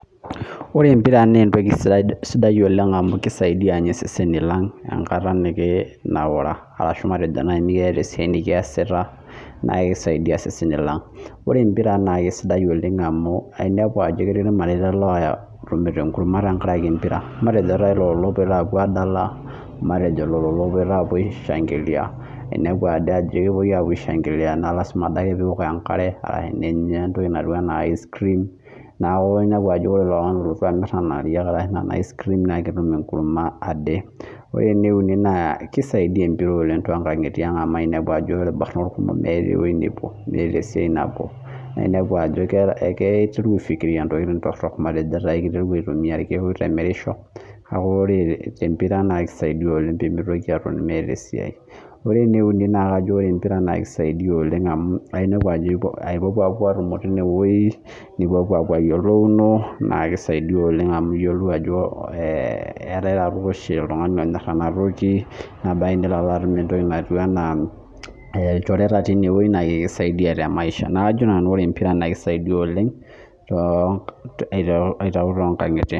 Ore empira na entoku sidai oleng amu kisaidia seseni lang enkata nikingira airura ashu meeta enikiasira neaku kisaidia iseseni lang ore empira ba entoki etipat oleng amu ketii irmareita otumito enkurma tenkaraki empira matejo lolo opoito apuo aishangilia na lasima adake peok enkare aa ninya entoki naijo icecream neaku inepu ajo ore oltungani olotu amir nona ariak na ketum enkurma ade ore entoki naisaidia empira na inepu ajokisaidia amu ore irkijanani kumok na ketii nkangitie amu meeta ewoi nepuo meeta siatin na inepu ajo keitoki aifikiria ntokitin torok matejo inepu aa irkiek oitemerisho na inepu ajo ore tempira na kisaidia oleng pemitoki natoni meeta esiai ore eneuni na kisaidia oleng amu inepu ajo ipuopuo atoni tinewueji nipopuo ayiolouno nakisaidia oleng amu iyiolou ajo eetae oshi oltungani onyor enatoki na ilo atum entoki naijo ilchoreta na kisaidia te maisha na kajo kesida oleng aiteru tonkangitie